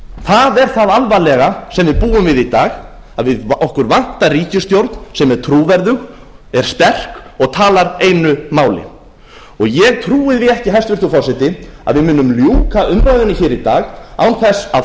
það er það alvarlega sem við búum við í dag að okkur vantar ríkisstjórn sem er trúverðug er sterk og talar einu máli ég trúi því ekki hæstvirtur forseti að við munum ljúka umræðunni hér í dag án þess að